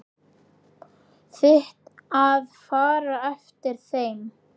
Þitt að fara eftir þeim.